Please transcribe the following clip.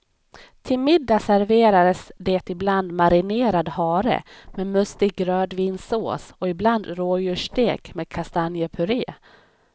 Till middag serverades det ibland marinerad hare med mustig rödvinssås och ibland rådjursstek med kastanjepuré.